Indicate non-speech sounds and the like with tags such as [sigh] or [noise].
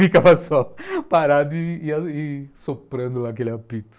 Ficava [laughs] só parado e soprando aquele apito.